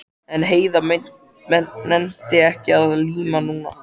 En Heiða nennti ekki að líma núna.